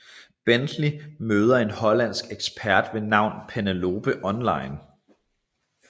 Bentley møder en hollandsk ekspert ved navn Penelope online